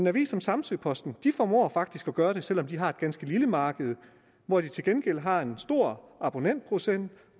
avis som samsø posten formår faktisk at gøre det selv om de har et ganske lille marked hvor de til gengæld har en stor abonnentprocent